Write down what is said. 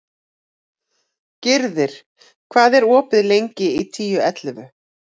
Gyrðir, hvað er opið lengi í Tíu ellefu?